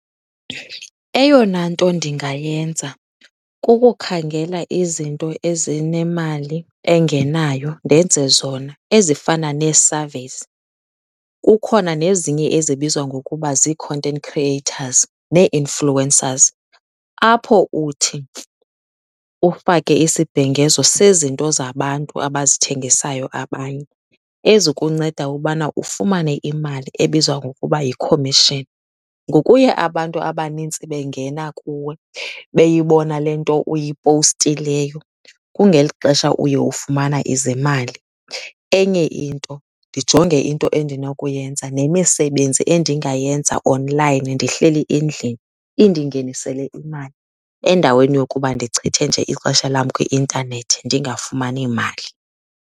Eyona nto ndingayenza kukukhangela izinto ezinemali engenayo ndenze zona ezifana nee-surveys. Kukhona nezinye ezibizwa ngokuba zii-content creators nee-influencers, apho uthi ufake isibhengezo sezinto zabantu abazithengisayo abanye, ezikunceda ubana ufumane imali ebizwa ngokuba yi-commission. Ngokuya abantu abanintsi bengena kuwe beyibona le nto uyipowustileyo, kungeli xesha uye ufumana izimali. Enye into ndijonge into endinokuyenza, nemisebenzi endingayenza onlayini ndihleli endlini indingenisele imali endaweni yokuba ndichithe nje ixesha lam kwi-intanethi ndingafumani mali.